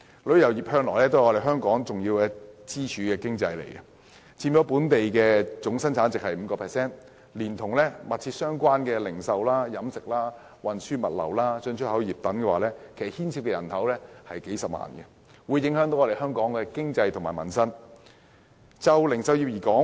旅遊業向來是香港一根重要的經濟支柱，佔本地生產總值 5%， 連同息息相關的零售、飲食、運輸、物流、進出口等行業，牽涉幾十萬就業人口，對香港的經濟和民生有重大影響。